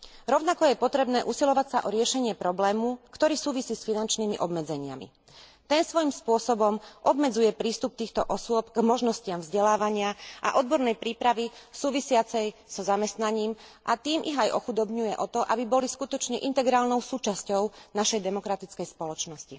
Rovnako je potrebné usilovať sa o riešenie problému, ktorý súvisí s finančnými obmedzeniami. Ten svojim spôsobom obmedzuje prístup týchto osôb k možnostiam vzdelávania a odbornej prípravy súvisiacej so zamestnaním, a tým ich aj ochudobňuje o to, aby boli skutočne integrálnou súčasťou našej demokratickej spoločnosti.